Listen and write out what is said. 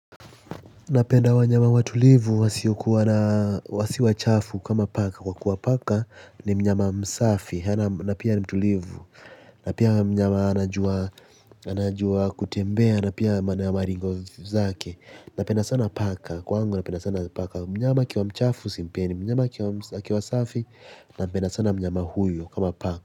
Napenda wanyama watulivu, wasiyokuwa na si wachafu kama paka, kwa kuwa paka ni mnyama msafi, na pia ni mtulivu, na pia mnyama anajua anajua kutembea, na pia maringo zake, napenda sana paka, kwangu napenda sana paka, mnyama akiwa mchafu simpendi, mnyama akiwa msafi, napenda sana mnyama huyo kama paka.